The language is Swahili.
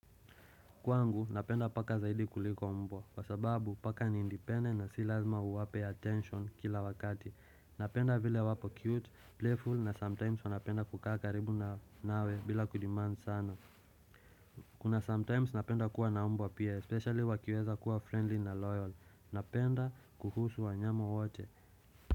Kwangu, napenda paka zaidi kuliko mbwa, kwa sababu paka ni independent na si lazima uwape attention kila wakati. Napenda vile wapo cute, playful na sometimes wanapenda kukaa karibu na nawe bila kudemand sana. Kuna sometimes napenda kuwa na mbwa pia, especially wakiweza kuwa friendly na loyal. Napenda kuhusu wanyama wote.